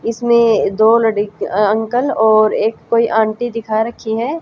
इसमें दो लड़ अंकल और एक कोई आंटी दिखा रखी है।